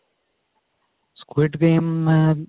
squid game ਮੈਂ